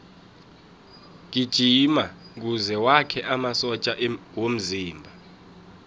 gijima kuze wakhe amasotja womzimba